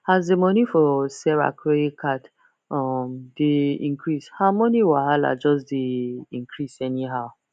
as the money for sarah credit card um dey increase her money wahala just dey increase anyhow